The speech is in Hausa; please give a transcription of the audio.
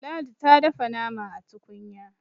ladi ta dafa nama a tukunya